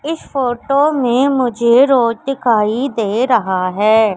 इस फोटो में मुझे रोड दिखाई दे रहा है।